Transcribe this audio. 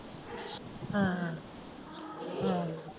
ਹਾਂ ਹਾਂ।